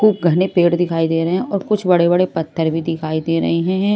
खूब घने पेड़ दिखाई दे रहे हैं और कुछ बड़े बड़े पत्थर भी दिखाई दे रहे हैं।